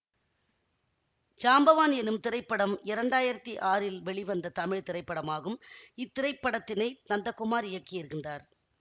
ஜாம்பவான் எனும் திரைப்படம் இரண்டாயிரத்தி ஆறில் வெளிவந்த தமிழ் திரைப்படமாகும் இத்திரைப்படத்தினை நந்தகுமார் இயக்கியிருந்தார்